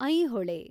Aihole